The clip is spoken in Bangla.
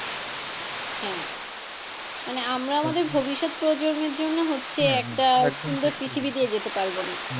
হ্যাঁ মানে আমরা আমাদের ভবিষ্যৎ প্রজন্মের জন্য হচ্ছে একটা সুন্দর পৃথিবী দিয়ে যেতে পারবোনা,